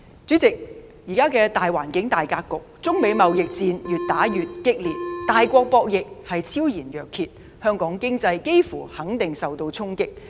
主席，在現時的大環境、大格局下，中美貿易戰越演越烈，大國博弈昭然若揭，香港經濟幾乎肯定受到衝擊。